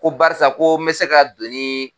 Ko barisa ko n bɛ se ka don